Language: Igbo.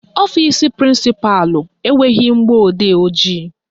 Ọfisi prịnsịpalụ enweghị mgbọodee ojii